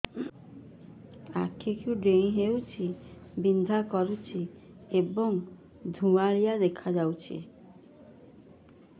ଆଖି କୁଂଡେଇ ହେଉଛି ବିଂଧା କରୁଛି ଏବଂ ଧୁଁଆଳିଆ ଦେଖାଯାଉଛି